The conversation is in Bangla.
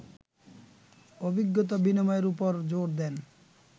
অভিজ্ঞতা বিনিময়ের ওপর জোর দেন